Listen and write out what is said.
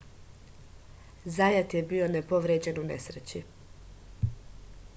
zajat je bio nepovređen u nesreći